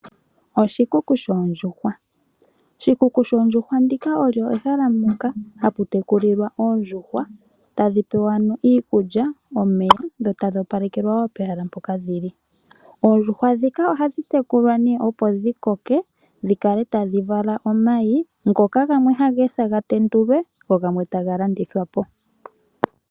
Oshikuku shoondjuhwa ndika olyo ehala moka hapu tekulilwa oondjuhwa tadhi pewa ano iikulya ,omeya ,dho tadhi opalekelwa wo pehala mpoka dhili. Oondjuhwa ndhika ohadhi tekulwa nee opo dhi koke dhi kale tadhi vala omayi ngoka gamwe haga ethwa ga tendulwe go gamwe taga landithwa po.